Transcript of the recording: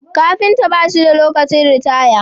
Kafinta bashi da lokacin ritaya